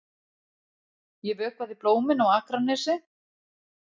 Ég vökvaði blómin á Akranesi.